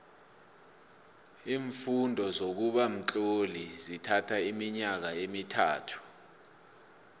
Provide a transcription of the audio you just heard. iimfundo zokuba mtloli zithatho iminyaka emithathu